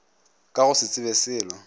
ka go se tsebe selo